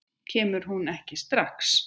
Kemur hún ekki strax?